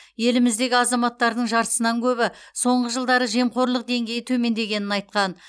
еліміздегі азаматтардың жартысынан көбі соңғы жылдары жемқорлық деңгейі төмендегенін айтқан